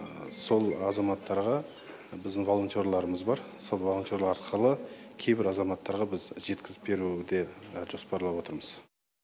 сол азаматтарға біздің волонтерларымыз бар сол волонтер арқылы кейбір азаматтарға біз жеткізіп беру де жоспарлап отырмыз